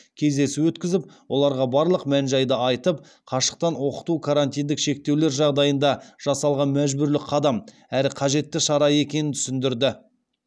кездесу өткізіп оларға барлық мән жайды айтып қашықтан оқыту карантиндік шектеулер жағдайында жасалған мәжбүрлі қадам әрі қажетті шара екенін түсіндірді